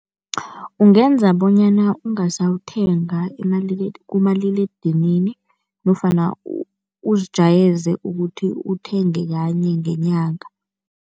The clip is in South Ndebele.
Ungenza bonyana ungasawuthenga kumaliledinini nofana uzijayeze ukuthi uthenge kanye ngenyanga.